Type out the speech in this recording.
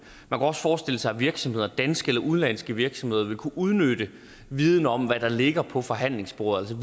også forestille sig at virksomheder danske eller udenlandske virksomheder ville kunne udnytte viden om hvad der ligger på forhandlingsbordet